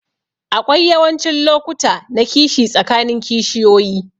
Aƙwai yawancin lokuta na kishi tsakanin kishiyoƴi.